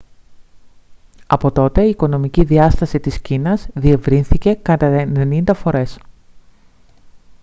από τότε η οικονομική διάσταση της κίνας διευρύνθηκε κατά 90 φορές